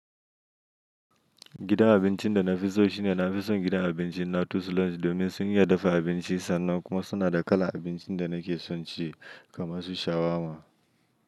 Gidan abincin da na fi so shine na fi son gidan abincin Latus Lounge domin sun iya dafa abinci sannan kuma suna da kalar abincin da nake son ci kamar su shawarma.